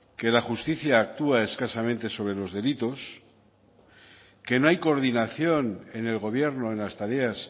que la justicia actúa escasamente sobre los delitos que no hay coordinación en el gobierno en las tareas